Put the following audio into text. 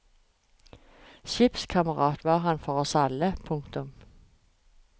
Skipskamerat var han for oss alle. punktum